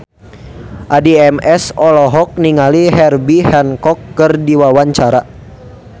Addie MS olohok ningali Herbie Hancock keur diwawancara